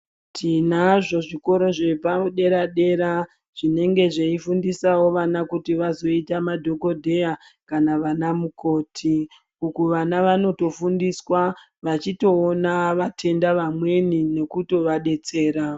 Tinazvo zvikoro zvepadera dera zvinenge zveifundisawo vana kuti vazoita madhokodheya kana vana mukoti uku vana vanotofundiswa vachitoona vatenda vamweni nekutovadetsera